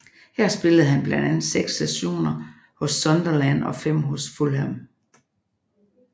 Her spillede han blandt andet seks sæsoner hos Sunderland og fem hos Fulham